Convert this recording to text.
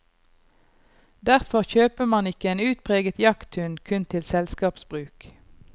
Derfor kjøper man ikke en utpreget jakthund kun til selskapsbruk.